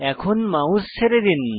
এখন মাউস ছেড়ে দিন